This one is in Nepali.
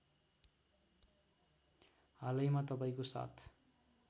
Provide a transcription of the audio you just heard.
हालैमा तपाईँको साथ